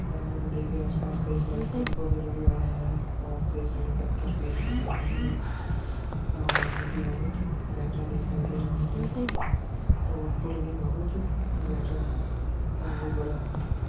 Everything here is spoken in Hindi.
है नदी के आस-पास कई सारे पेड़ लगे हुए हैं और कई सारे पत्थर भी है लगे हैं और नदी बहुत गहरा दिखाई दे रहा है और पुल भी बहुत गहरा है और बहुत बड़ा है।